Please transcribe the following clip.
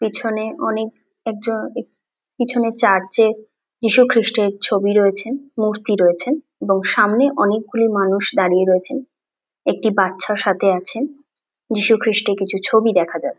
পিছনে অনেক একজন পিছনে চার্চ - এ যিশু খ্রিষ্টের ছবি রয়েছে মূর্তি রয়েছে এবং সামনে অনেকগুলি মানুষ দাঁড়িয়ে রয়েছেন একটি বাচ্চা সাথে আছেন যিশু খ্রিস্টের কিছু ছবি দেখা যা--